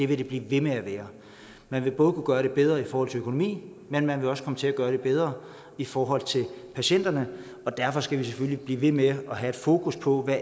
vil det blive ved med at være man vil både kunne gøre det bedre i forhold til økonomi men man vil også komme til at gøre det bedre i forhold til patienterne og derfor skal vi selvfølgelig blive ved med at have et fokus på hvad